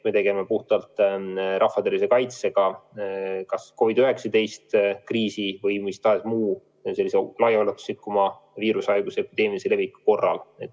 Me tegeleme puhtalt rahva tervise kaitsega COVID-19 kriisi või mis tahes muu viirushaiguse ulatusliku leviku korral.